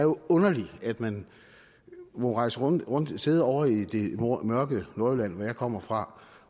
underligt at man må rejse rundt rundt sidde ovre i det mørke nordjylland hvor jeg kommer fra